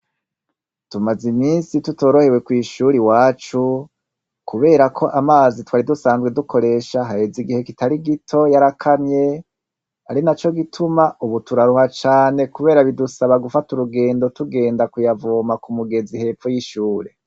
Tumaze imisi tutorohewe kwishure iwacu kuberako amazi twari dusanzwe dukoresha haheze igihe gito yarakamye arinaco gituma ubu turaruha cane kubera bidusaba gufata urugendo tugenda kuyavoma kumugezi hepfo y’ishure.